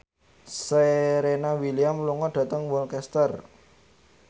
Serena Williams lunga dhateng Worcester